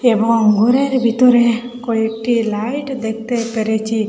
এবং গোরের বিতরে কয়েকটি লাইট দেখতে পেরেচি।